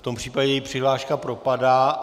V tom případě její přihláška propadá.